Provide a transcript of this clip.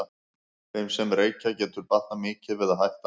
Þeim sem reykja getur batnað mikið við að hætta.